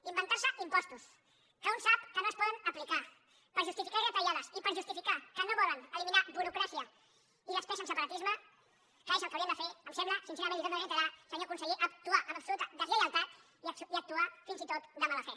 inventar se impostos que un sap que no es poden aplicar per justificar retallades i per justificar que no volen eliminar burocràcia i despesa en separatisme que és el que haurien de fer em sembla sincerament li ho torno a reiterar senyor conseller actuar amb absoluta deslleialtat i actuar fins i tot de mala fe